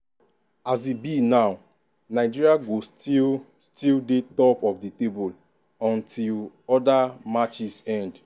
as e be now nigeria go still still dey top of di table until oda matches end.